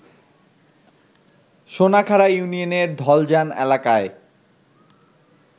সোনাখাড়া ইউনিয়নের ধলজান এলাকায়